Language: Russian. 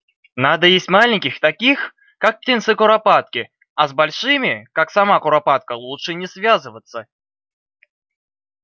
надо есть маленьких таких как птенцы куропатки а с большими как сама куропатка лучше не связываться